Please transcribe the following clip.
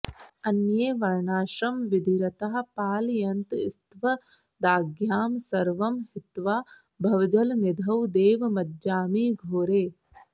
अन्ये वर्णाश्रमविधिरताः पालयन्तस्त्वदाज्ञां सर्वं हित्वा भवजलनिधौ देव मज्जामि घोरे